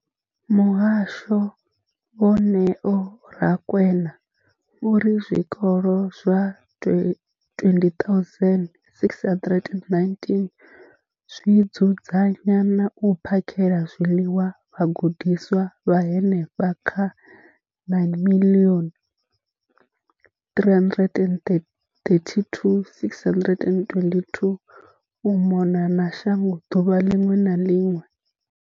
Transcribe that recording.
Muhasho, vho Neo Rakwena, vho ri zwikolo zwa 20 619 zwi dzudzanya na u phakhela zwiḽiwa vhagudiswa vha henefha kha 9 032 622 u mona na shango ḓuvha ḽiṅwe na ḽiṅwe.